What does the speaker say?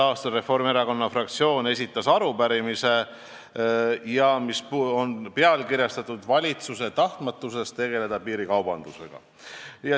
a esitas Reformierakonna fraktsioon arupärimise, mis on pealkirjastatud "Valitsuse tahtmatusest tegeleda piirikaubandusega".